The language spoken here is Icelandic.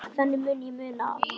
Á klónni máski slaka hér.